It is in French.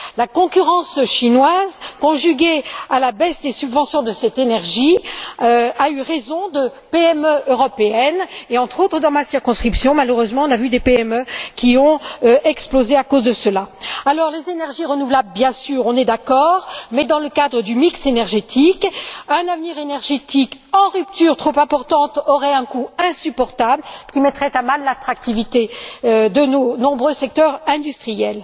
La concurrence chinoise, conjuguée à la baisse des subventions en faveur de cette énergie, a eu raison de PME européennes, et, entre autres, dans ma circonscription malheureusement, des PME ont explosé à cause de cela. Alors, les énergies renouvelables, bien sûr, nous y sommes favorables, mais dans le cadre du mix énergétique, un avenir énergétique en rupture trop importante aurait un coût insupportable, qui mettrait à mal l'attractivité de nombreux secteurs industriels.